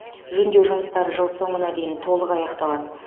жөндеу жұмыстары жыл соңына дейін толық аяқталады